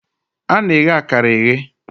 a na-eghe akara eghe.